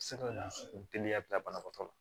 Se ka na teliya bila banabaatɔ la